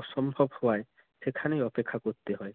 অসম্ভব হওয়ায় সেখানেই অপেক্ষা করতে হয়।